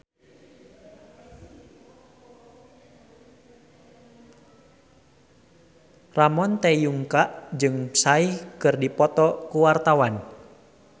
Ramon T. Yungka jeung Psy keur dipoto ku wartawan